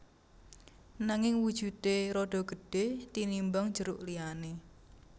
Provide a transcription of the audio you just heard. Nanging wujudé rada gedhé tinimbang jeruk liyané